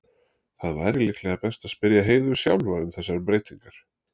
Það væri líklega best að spyrja Heiðu sjálfa um þessar breytingar.